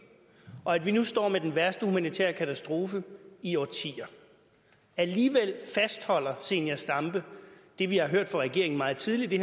og at vi nu står med den værste humanitære katastrofe i årtier alligevel fastholder zenia stampe det vi har hørt fra regeringen meget tidligt i